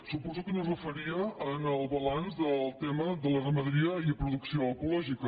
suposo que no es referia al balanç del tema de la ramaderia i producció ecològica